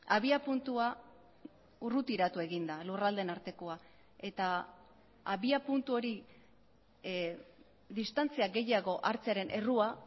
abiapuntua urrutiratu egin da lurraldeen artekoa eta abiapuntu hori distantzia gehiago hartzearen errua